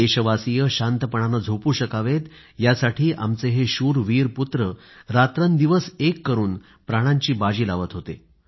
देशवासीय शांतपणानं झोपू शकावेत यासाठी आमचे हे शूरवीर पुत्र रात्रंदिवस एक करून प्राणाची बाजी लावत होते